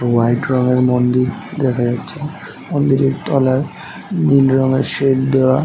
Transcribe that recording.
white রঙের মন্দির দেখা যাচ্ছে মন্দিরের তলায় নীল রঙের শেড দেওয়া --